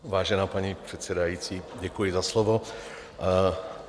Vážená paní předsedající, děkuji za slovo.